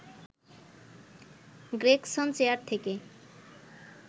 Gregson chair থেকে